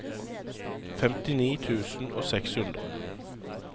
femtini tusen og seks hundre